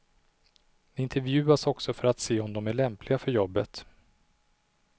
De intervjuas också för att se om de är lämpliga för jobbet.